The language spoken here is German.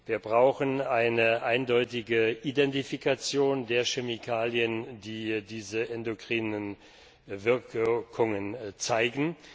Wir brauchen eine eindeutige Identifikation der Chemikalien, die diese endokrinen Wirkungen zeigen.